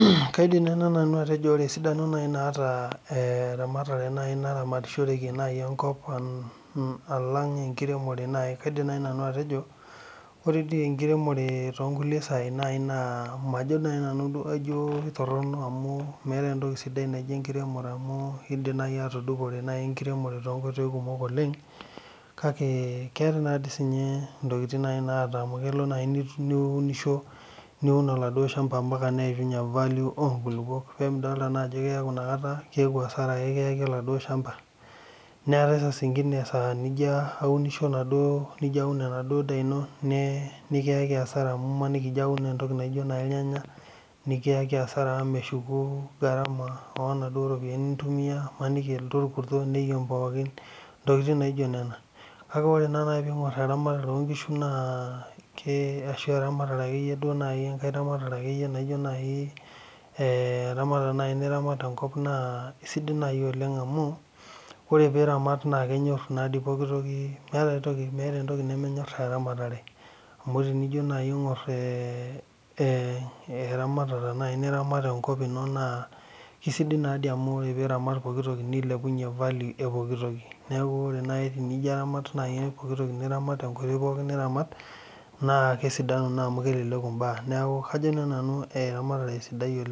Kaidim nai nanu atejo ore esidano nai naata ramatare naramatishoreki nai enkop alang enkiremore nai Kaidim nai nanu atejo, ore dei enkiremore too nkule saii naa majo nai nanu kajo ketoron amu meetae entoki sidai naji enkiremore amuu eidim nai atudupore nai enkiremore to nkoitoi kumok oleng kake keata nai sii ninye ntokitin nai naata amu kelo naa niunisho, niun eladuo ilchamba ompaka neishunye evalio enkulupo peedol naa ajo ore inakata keaku asara kiyaki eladuo ilchamba, neaku saasingine esaa eya nijo aunisho enaduo, nijo aun enaduo indaa ino nikiyaki asara amu ijo imaniki ajo iwun entoki naji ilnyanya nikiyeki asara amu meshuku egarama onaduo iropiyiani nitumiya, imaniki elotu orkurto nemut pookin, ntokitin naijo nena ore naa peengori eramatare oonkishu naa keidim ashu eramatare ake iyie duo nai enkae ramatare ake iyie naa ijo naii, eramatare nai niramat enkop naa esidai nai oleng amuu, ore piramaat naa kenyoorr nai pooki toki, meeta entoki nemenyor eramatare oo tinijo nai aing'or eramatata nai niramatita enkop ino naa esidai naa dei amu ore piiramat pooki toki neilepunye valio epooki toki naaku kegol naii tenijo amut nai pooki toki niramatita nenere niramat naa kesidanu naa amu keleleku imbaa ,naaku kajo naa nanu matejo esidai oleng.